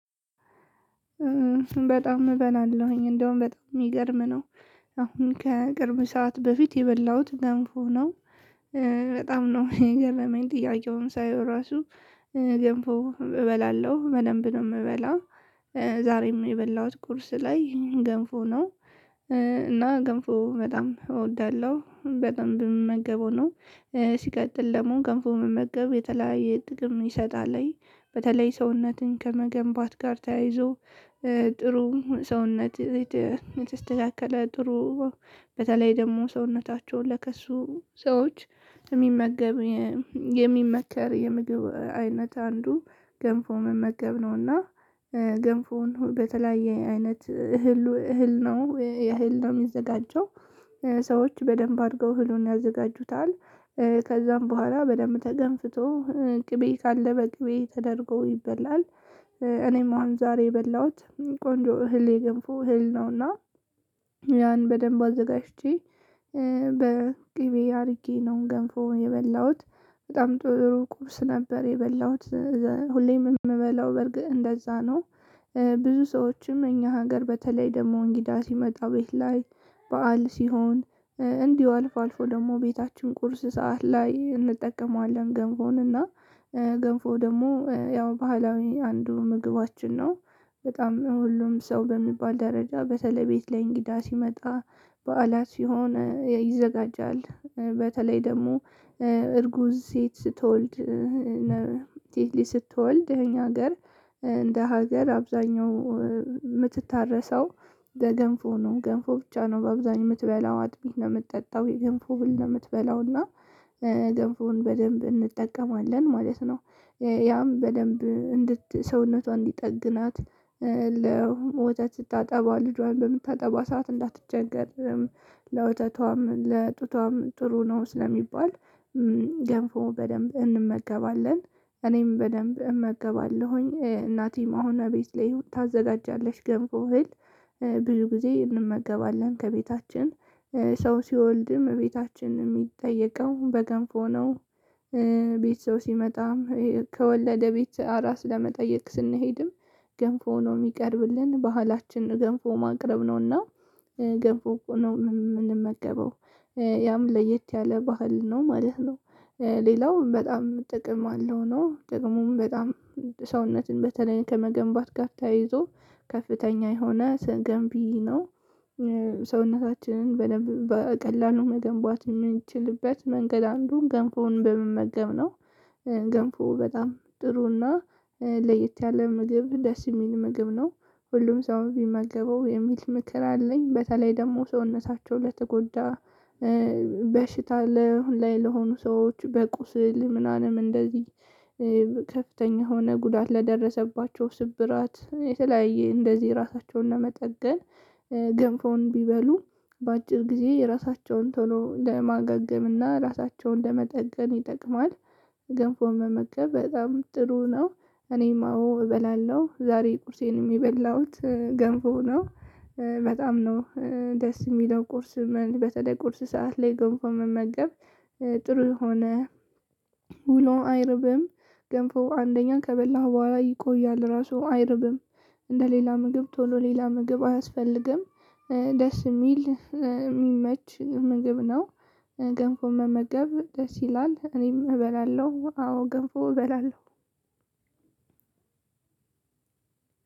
በጣም እበላለሁኝ እንደውም በጣም ሚገርም ነው! አሁን ከቅርብ ሰዓት በፊት የበላሁት ገንፎ ነው። በጣም ነው የገረመኝ ጥያቄውን ሳየው ራሱ ገንፎ እበላለሁ በደንብ ነው ምበላው። ዛሬም የበላሁት ቁርስ ላይ ገንፎ ነው እና ገንፎ በጣም እወዳለሁ በደምብ ምመገበው ነው። ሲቀጥል ደግሞ ገንፎ መመገብ የተለያየ ጥቅም ይሰጣል። በተለይ ሰውነትን ከመገንባት ጋር ተያይዞ ጥሩ ሰውነት የተስተካከለ ጥሩ በተለይ ደግሞ ሰውነታቸውን ለከሱ ሰዎች የሚመገብ የሚመከር የምግብ አይነት አንዱ ገንፎ መመገብ ነው እና ገንፎውን በተለያየ አይነት እህል እህል ነው እህል ነው ሚዘጋጀው። ሰዎች በደንብ አድርገው እህሉን ያዘጋጁታል። ከዛም በኋላ በደንብ ተገንፍቶ ቅቤ ካለ በቅቤ ተደርጎ ይበላል። እኔም አሁን ዛሬ የበላሁት ቆንጆ እህል የገንፎ እህል ነው እና ያን በደንብ አዘጋጅቼ በቅቤ አድርጌ ነው ገንፎውን የበላሁት። በጣም ጥሩ ቁርስ ነበር የበላሁት። ሁሌም የምበላው በርግጥ እንደዛ ነው። ብዙ ሰዎችም እኛ ሀገር በተለይ ደግሞ እንግዳ ሲመጣ ቤት ላይ በዓል ሲሆን እንዲሁ አልፎ አልፎ ደግሞ ቤታችን ቁርስ ሰዓት ላይ እንጠቀመዋለን ገንፎን እና ገንፎ ደግሞ ያው ባህላዊ አንዱ ምግባችን ነው። በጣም ሁሉም ሰው በሚባል ደረጃ በተለይ ቤት ላይ እንግዳ ሲመጣ በዓላት ሲሆን ይዘጋጃል። በተለይ ደግሞ እርጉዝ ሴት ስትወልድ ሴት ላጅ ስትወልድ እኛ ሀገር እንደ ሀገር አብዛኛው ምትታረሰው በገንፎ ነው፤ ገንፎ ብቻ ነው በአብዛኛው ምትበላው፤ አጥሚት ነው ምትጠጣው፤ የገንፎ እህል ነው ምትበላው እና ገንፎን በደንብ እንጠቀማለን ማለት ነው። ያም በደንብ እንድት ሰውነቷ እንዲጠግናት ለወተት ስታጠባ ልጇን በምታጠባ ሰዓት እንዳትቸገርም ለወተቷም ለጡቷም ጥሩ ነው ስለሚባል ገንፎ በደንብ እንመገባለን፥ እኔም በደንብ እመገባለሁኝ። እናቴም አሁን ቤት ላይ ታዘጋጃለች ገንፎ እህል፥ ብዙ ጊዜ እንመገባለን ከቤታችን። ሰው ሲወልድም ቤታችን ሚጠየቀው በገንፎ ነው። ቤት ሰው ሲመጣም ከወለደ ቤት አራስ ለመጠየቅ ስንሄድም ገንፎ ነው ሚቀርብልን ባህላችን ገንፎ ማቅረብ ነው እና ገንፎ ነው ምንመገበው። ያም ለየት ያለ ባህል ነው ማለት ነው። ሌላውም በጣም ጥቅም አለው ነው። ጥቅሙም በጣም ሰውነትን በተለይ ከመገንባት ጋር ተያይዞ ከፍተኛ የሆነ ገንቢ ነው። ሰውነታችንን በደንብ በቀላሉ መገንባት ምንችልበት መንገድ አንዱም ገንፎን በመመገብ ነው። ገንፎ በጣም ጥሩና ለየት ያለ ምግብ ደስ የሚል ምግብ ነው። ሁሉም ሰው ቢመገበው የሚል ምክር አለኝ። በተለይ ደግሞ ሰውነታቸው ለተጎዳ በሽታ ላይ ለሆኑ ሰዎች፤ በቁስል ምናምን እንደዚህ ከፍተኛ የሆነ ጉዳት ለደረሰባቸው፤ ስብራት የተለያየ እንደዚህ ራሳቸውን ለመጠገን ገንፎን ቢበሉ በአጭር ጊዜ እራሳቸውን ቶሎ ለማገገም እና ራሳቸውን ለመጠገን ይጠቅማል። ገንፎ መመገብ በጣም ጥሩ ነው። እኔም አዎ እበላለሁ፥ ዛሬ ቁርሴንም የበላሁት ገንፎ ነው። በጣም ነው ደስ የሚለው ቁርስም በተለይ ቁርስ ሰዓት ላይ ገንፎ መመገብ ጥሩ የሆነ ውሎ አይርብም ገንፎ አንደኛ ከበላኸው በኋላ ይቆያል፥ ራሱ አይርብም። እንደ ሌላ ምግብ ቶሎ ሌላ ምግብ አያስፈልግም። ደስ የሚል የሚመች ምግብ ነው። ገንፎ መመገብ ደስ ይላል፥ እኔም እበላለሁ አዎ ገንፎ እበላለሁ።